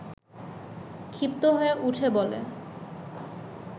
ক্ষিপ্ত হয়ে উঠে বলে